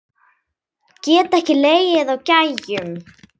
Get ekki legið á gægjum.